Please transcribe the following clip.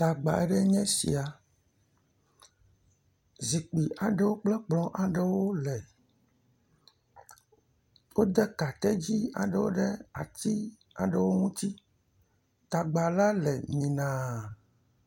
Gbagba aɖewo nye sia, zikpui aɖewo kple kplɔ aɖewo le. Wode kaketi aɖewo ɖe ati ɖewo ŋuti. Tagba le mi naa.